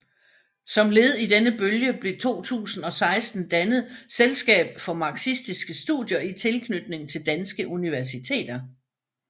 Som led i denne bølge blev 2016 dannet Selskab for Marxistiske Studier i tilknytning til danske universiteter